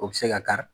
O bɛ se ka kari